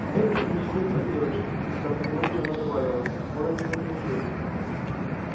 теперь уже ничего не поделаешь с внезапной горечью она добавила он это заслужил